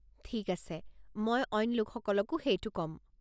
ঠিক আছে, মই অইন লোকসকলকো সেইটো কম।